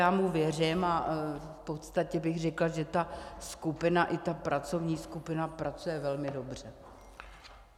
Já mu věřím a v podstatě bych řekla, že ta skupina i ta pracovní skupina pracuje velmi dobře.